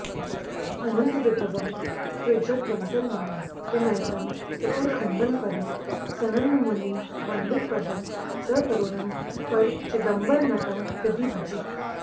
अनन्तविभवं त्रिजगदन्तरमणिं त्रिनयनं त्रिपुरखण्डनपरं सनन्दमुनिवन्दितपदं सकरुणं परचिदम्बरनटं हृदि भजे